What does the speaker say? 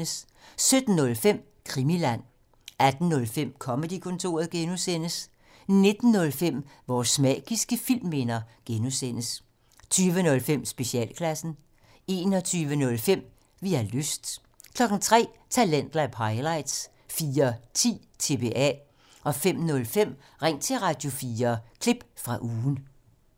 17:05: Krimiland 18:05: Comedy-kontoret (G) 19:05: Vores magiske filmminder (G) 20:05: Specialklassen 21:05: Vi har lyst 03:00: Talentlab highlights 04:10: TBA 05:05: Ring til Radio4 – klip fra ugen